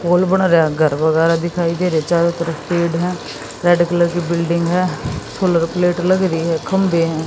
पोल बन रहा घर वगैरह दिखाई दे रहे चारों तरफ पेड़ हैं रेड कलर की है सोलर प्लेट लग रही है खंभे हैं।